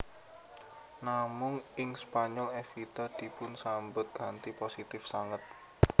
Namung ing Spanyol Evita dipunsambet kanthi positif sanget